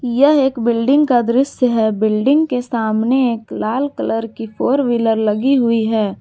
यह एक बिल्डिंग का दृश्य है बिल्डिंग के सामने एक लाल कलर की फोर व्हीलर लगी हुई है।